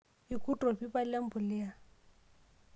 Irkurt torpipa lempulia.